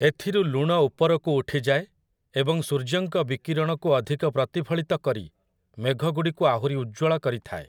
ଏଥିରୁ ଲୁଣ ଉପରକୁ ଉଠିଯାଏ ଏବଂ ସୂର୍ଯ୍ୟଙ୍କ ବିକିରଣକୁ ଅଧିକ ପ୍ରତିଫଳିତ କରି ମେଘଗୁଡ଼ିକୁ ଆହୁରି ଉଜ୍ଜ୍ୱଳ କରିଥାଏ ।